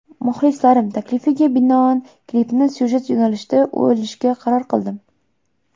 Muxlislarim taklifiga binoan klipni syujet yo‘nalishida olishga qaror qildim.